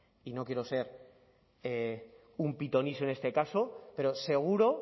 y no quiero ser un pitoniso en este caso pero seguro